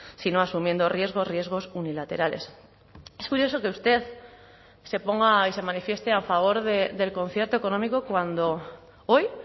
sino asumiendo riesgos riesgos unilaterales es curioso que usted se ponga y se manifieste a favor del concierto económico cuando hoy